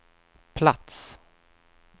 plats